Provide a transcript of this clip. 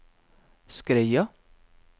Skreia